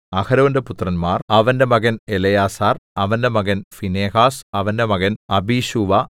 അഹരോന്റെ പുത്രന്മാർ അവന്റെ മകൻ എലെയാസാർ അവന്റെ മകൻ ഫീനെഹാസ് അവന്റെ മകൻ അബീശൂവ